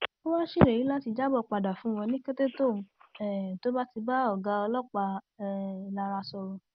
ó wáá ṣèlérí láti jábọ padà fún wọn ní kété tóun um tó bá ti bá ọgá ọlọpàá um ìlara sọrọ